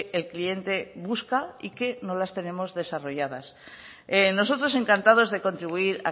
el cliente busca y que no las tenemos desarrolladas nosotros encantados de contribuir